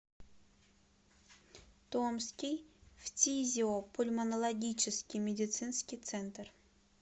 томский фтизиопульмонологический медицинский центр